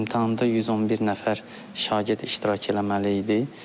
İmtahanda 111 nəfər şagird iştirak eləməli idi.